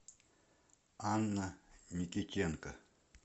анна никитенко